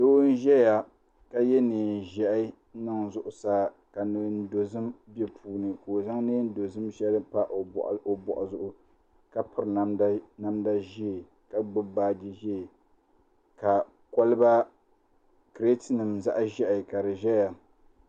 Doo n ʒɛya ka yɛ neen ʒiɛhi n niŋ zuɣusaa ka neen dozim bɛ puuni ka o zaŋ neen dozim shɛli pa o boɣu zuɣu ka piri namda ʒiɛ ka gbubi baaji ʒiɛ ka kolba kirɛt nim zaɣ ʒiɛhi ka di ʒɛya